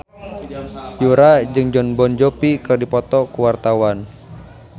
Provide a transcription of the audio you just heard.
Yura jeung Jon Bon Jovi keur dipoto ku wartawan